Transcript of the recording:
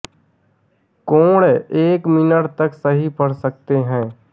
कोण एक मिनट तक सही पढ़ सकते हैं